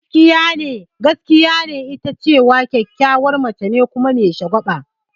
Gaskiya ne, ita kyakkyawar mace ce kuma me shagwaba.